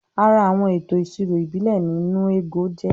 Ara Àwọn ètò ìṣirò ìbílẹ̀ ni "nnu ego "jẹ́